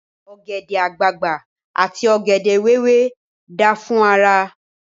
Ògẹ̀dè àgbagbà àti ògèdè wéwé dáa fún ara.